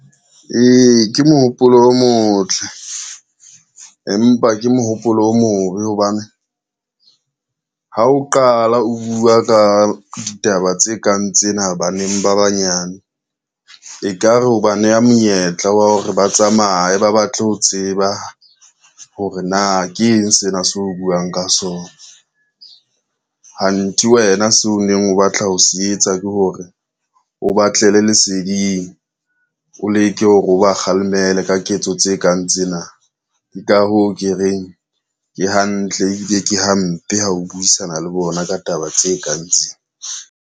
Ee, ke mohopolo o motle, empa ke mohopolo o mobe hobane ha o qala o bua ka ditaba tse kang tsena baneng ba banyane, e ka re o ba neha monyetla wa hore ba tsamaye ba batle ho tseba hore na ke eng sena se o buang ka sona. Hanthe wena seo o neng o batla ho se etsa ke hore o batlele leseding, o leke hore o ba kgalemele ka ketso tse kang tsena. Ke ka hoo ke reng ke hantle ebile ke hampe ha o buisana le bona ka taba tse kang tsena.